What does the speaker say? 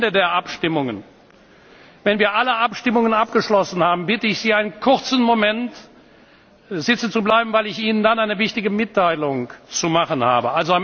Am Ende der Abstimmungen, wenn wir alle Abstimmungen abgeschlossen haben, bitte ich Sie, einen kurzen Moment sitzen zu bleiben, weil ich Ihnen dann eine wichtige Mitteilung zu machen habe.